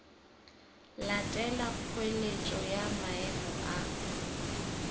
latela kgoeletšo ya maemo a